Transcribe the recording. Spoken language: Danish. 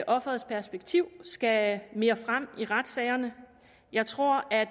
offerets perspektiv skal mere frem i retssagerne jeg tror at